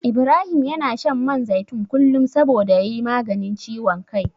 Ibrahim yana shan man zaitun kullum saboda ya yi maganin ciwon kai.